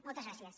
moltes gràcies